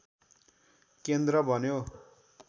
केन्द्र बन्यो